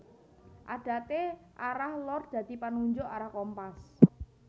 Adate arah lor dadi panunjuk arah kompas